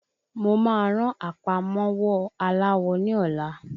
Mo máa ran àpamọ́wọ́ aláwọ ní ọlá.